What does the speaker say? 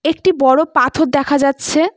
একটি বড়ো পাথর দেখা যাচ্ছে।